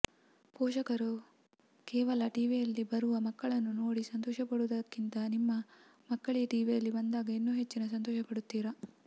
ಪೋಷಕರು ಕೇವಲ ಟಿವಿಯಲ್ಲಿ ಬರುವ ಮಕ್ಕಳನ್ನು ನೋಡಿ ಸಂತೋಷಪಡುವುದಕ್ಕಿಂತ ನಿಮ್ಮ ಮಕ್ಕಳೆ ಟಿವಿಯಲ್ಲಿ ಬಂದಾಗ ಇನ್ನೂ ಹೆಚ್ಚಿನ ಸಂತೋಷ ಪಡುತ್ತೀರ